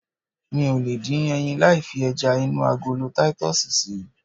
Mi ò lè dín ẹyin láì fi ẹja inú agolo titus si